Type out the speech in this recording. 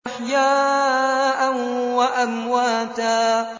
أَحْيَاءً وَأَمْوَاتًا